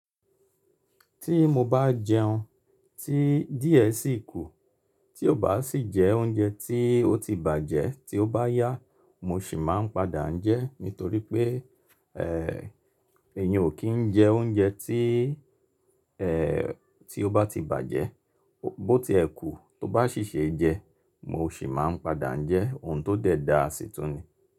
Tí mo bá jẹun tí díẹ̀ sí ikú, tí ó bá sì jẹ oúnjẹ tí ó ti bàjẹ́ tí ó bá yá, mo sì máa ń padà jẹ́ nítorí pé, èèyàn ò kí ń jẹ oúnjẹ tí, ẹ́ tí ó bá ti bàjẹ́ bó ti ẹ̀kú tó bá sì ṣe jẹ, mo sì máa ń padà jẹ, òun tó dẹ̀ da sì tún ni.